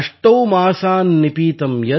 अष्टौ मासान् निपीतं यद् भूम्याः च ओदमयम् वसु |